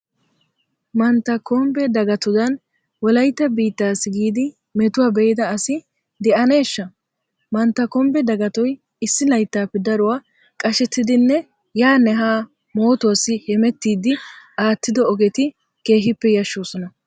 Mantta kumbbe dagatodan wolayttaa biittaassi giidi metuwa be'ida asi de'aneeshsha! Mantta kumbbe dagatoy issi layttappe daruwa qashettiiddinne yaanne Haa mootuwassi hemettiiddi aattido ogeti keehippe yashshoosona.